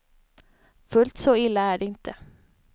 Fullt så illa är det inte.